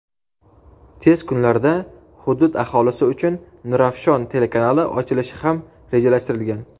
tez kunlarda hudud aholisi uchun "Nurafshon" telekanali ochilishi ham rejalashtirilgan.